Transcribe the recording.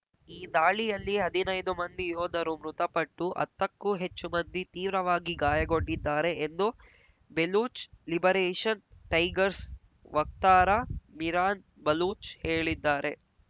ಈ ದಾಳಿಯಲ್ಲಿ ಹದಿನೈದು ಮಂದಿ ಯೋಧರು ಮೃತಪಟ್ಟು ಅತ್ತಕ್ಕೂ ಹೆಚ್ಚು ಮಂದಿ ತೀವ್ರವಾಗಿ ಗಾಯಗೊಂಡಿದ್ದಾರೆ ಎಂದು ಬೆಲೂಚ್ ಲಿಬರೇಷನ್ ‌ಟೈಗರ್ಸ್ ವಕ್ತಾರ ಮಿರಾನ್ ಬಲೂಚ್ ಹೇಳಿದ್ದಾರೆ